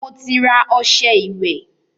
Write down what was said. Mo ti ra ọṣẹ́ ìwẹ́.